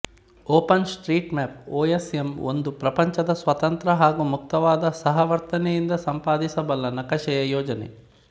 open street map OSM ಒಂದು ಪ್ರಪಂಚದ ಸ್ವತಂತ್ರ ಹಾಗೂ ಮುಕ್ತವಾಗಿ ಸಹವರ್ತನೆಯಿಂದ ಸಂಪಾದಿಸಬಲ್ಲ ನಕಾಶೆಯ ಯೋಜನೆ